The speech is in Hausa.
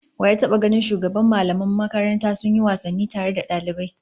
Wa ya taba ganin shugaban mallaman makaranta sun yi wasanni tare da dalibai?